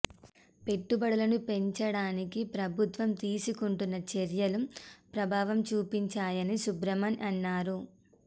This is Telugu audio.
పెట్టుబడులను పెంచడానికి ప్రభుత్వం తీసుకుంటున్న చర్యలు ప్రభావం చూపించాయని సుబ్రమణ్యన్ అన్నారు